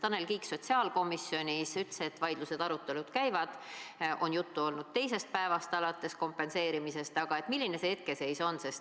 Tanel Kiik sotsiaalkomisjonis ütles, et vaidlused ja arutelud käivad, on juttu olnud alates teisest päevast kompenseerimisest, aga milline see hetkeseis on?